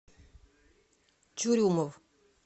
чурюмов